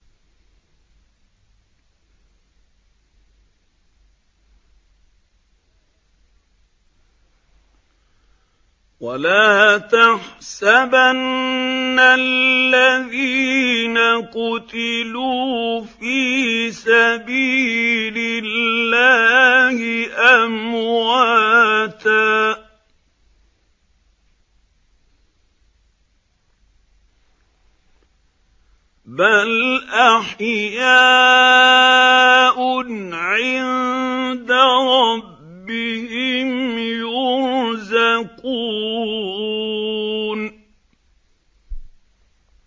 وَلَا تَحْسَبَنَّ الَّذِينَ قُتِلُوا فِي سَبِيلِ اللَّهِ أَمْوَاتًا ۚ بَلْ أَحْيَاءٌ عِندَ رَبِّهِمْ يُرْزَقُونَ